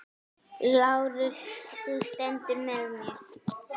LÁRUS: Þú stendur með mér.